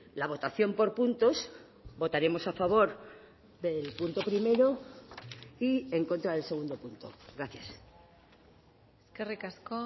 la votación por puntos votaremos a favor del punto primero y en contra del segundo punto gracias eskerrik asko